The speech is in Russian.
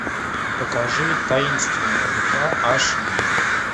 покажи таинственная река аш ди